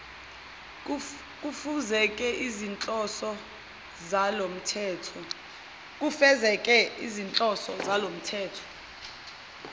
kufezeke izinhloso zalomthetho